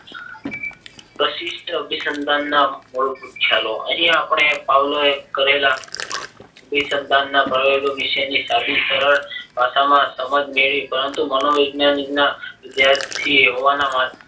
પ્રતિસ્થ અભિસંદનના મૂળભૂત ખ્યાલો અહીં આપણે પાવલાવે કરેલા અભિસંદનના પ્રયોગો વિશેની સાબિત કરો સમાજ મેળવી પરંતુ મનોવિજ્ઞાન ના જ્યારથી